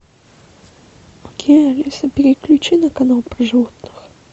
окей алиса переключи на канал про животных